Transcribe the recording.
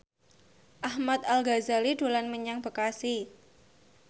Ahmad Al Ghazali dolan menyang Bekasi